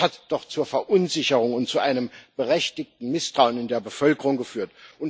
Das hat doch zur Verunsicherung und zu einem berechtigten Misstrauen in der Bevölkerung geführt.